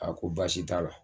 A ko baasi t'a la.